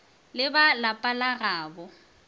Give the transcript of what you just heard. le ba lapa la gabo